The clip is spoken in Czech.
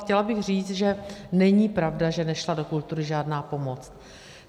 Chtěla bych říct, že není pravda, že nešla do kultury žádná pomoc.